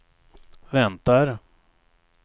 väntar